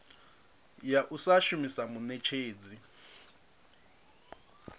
ya u sa shumisa muṋetshedzi